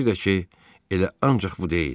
Bir də ki, elə ancaq bu deyil.